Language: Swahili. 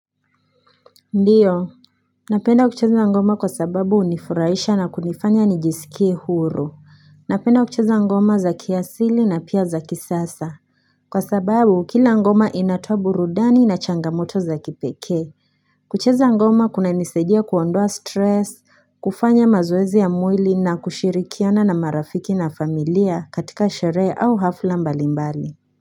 Ndiyo, napenda kucheza ngoma kwa sababu unifuraisha na kunifanya nijisikie huru. Napenda kucheza ngoma za kiasili na pia za kisasa. Kwa sababu, kila ngoma inatoa burudani na changamoto za kipeke. Kucheza ngoma kuna nisejia kuondoa stress, kufanya mazoezi ya mwili na kushirikiana na marafiki na familia katika shere au hafla mbalimbali.